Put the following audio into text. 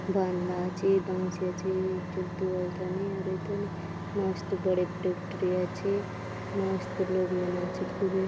बान ना छे बान सी आचे एक ठो तुअल तने और एक ठो मस्त बड़े मस्त लोग मन आछे खूबे --